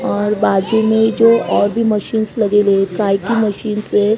और बाजू में जो और भी मशीन्स लगेले काहे की मशीन्स है।